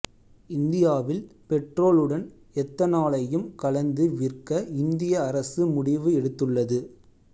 இந்தியாவில் பெட்ரோலுடன் எத்தனாலையும் கலந்து விற்க இந்திய அரசு முடிவு எடுத்துள்ளது